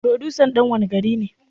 Furodusan dan wanne gari ne?